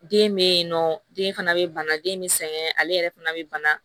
Den be yen nɔ den fana be bana den be sɛgɛn ale yɛrɛ fana be bana